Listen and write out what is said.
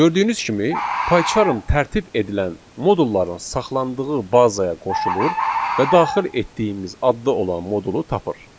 Gördüyünüz kimi, PyCharm tərtib edilən modulların saxlandığı bazaya qoşulur və daxil etdiyimiz adda olan modulu tapır.